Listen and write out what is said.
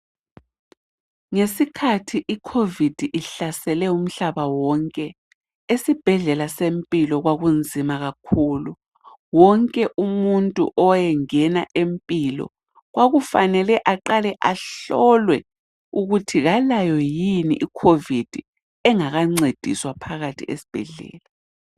Ngesikhathi icovid ihlasele umhlaba wonke, esibhedlela seMpilo kwakunzima kakhulu. Wonke umuntu owayengena eMpilo kwakufanele aqale ahlolwe ukuthi kalayo yini icovid engakancediswa phakathi esibhedlela.